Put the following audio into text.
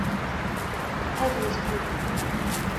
экзистру